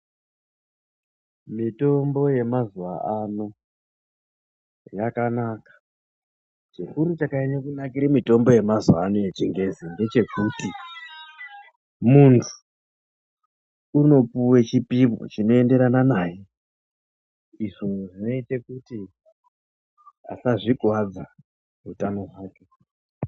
Mitombo yemazuva ano, yakanaka. Chikuru chakanyanyire kunakire mitombo yemazuvano echingezi ngechekuti , muntu unopuwe chipimo chinoenderana naye. Izvo zvineite kuti asazvikuadza hutano hwake.